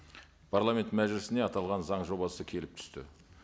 парламент мәжілісіне аталған заң жобасы келіп түсті